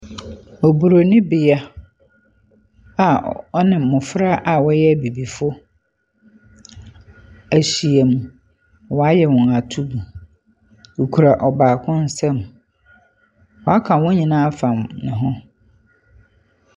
Oburoni bea a ɔne mmɔfra a wɔyɛ abibifo ahyiam. Wayɛ wɔn atuu. Ɔkura ɔbaako nsam. Waka wɔn nyinaa afam ne ho.